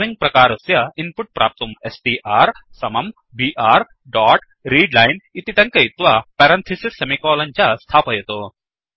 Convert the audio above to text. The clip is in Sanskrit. स्ट्रिंग प्रकारस्य इन्पुट् प्राप्तुं स्ट्र् समं बीआर डोट् रीडलाइन् इति टङ्कयित्वा पेरन्थिसिस् सेमिकोलन् च स्थापयतु